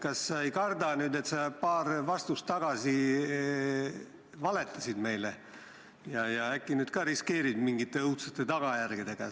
Kas sa ei karda, et sa paar vastust tagasi valetasid meile ja äkki nüüd ka riskeerid mingite õudsete tagajärgedega?